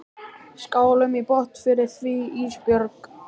Skálum í botn fyrir því Ísbjörg.